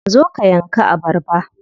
Zo ka yanka abarba.